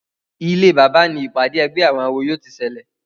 Ilé bàbá ní ìpàdé ègbé àwọn àwo yóò tí ṣẹlẹ.